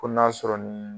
Ko n'a sɔrɔ ni